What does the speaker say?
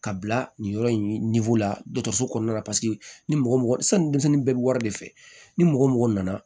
Ka bila nin yɔrɔ in la dɔgɔtɔrɔso kɔnɔna la ni mɔgɔ mɔgɔ sanni denmisɛnnin bɛɛ bi wari de fɛ ni mɔgɔ mɔgɔ nana